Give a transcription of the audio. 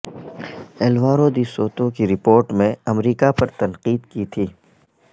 Alvaro de Soto کی report میں امریکہ پر تنقید کی تھی